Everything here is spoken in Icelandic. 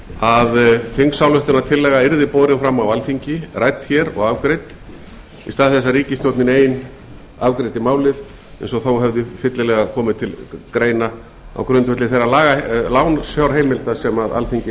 að þingsályktunartillaga yrði borin fram á alþingi rædd hér og afgreidd í stað þess að ríkisstjórnin ein afgreiddi málið það hefði þó fyllilega komið til greina á grundvelli þeirra lánsfjárheimilda sem alþingi